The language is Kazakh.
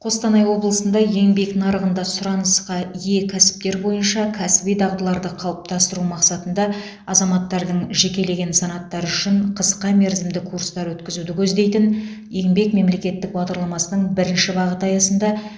қостанай облысында еңбек нарығында сұранысқа ие кәсіптер бойынша кәсіби дағдыларды қалыптастыру мақсатында азаматтардың жекелеген санаттары үшін қысқамерзімді курстар өткізуді көздейтін еңбек мемлекеттік бағдарламасының бірінші бағыты аясында